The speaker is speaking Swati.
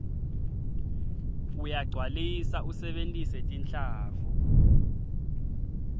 uyagcwalisa usebentise tinhlavu